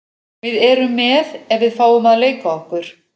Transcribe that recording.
Við erum með ef við fáum að leika okkur.